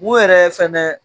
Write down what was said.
U yɛrɛ sɛmɛn.